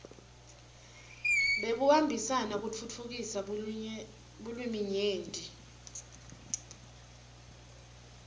bekubambisana kutfutfukisa bulwiminyenti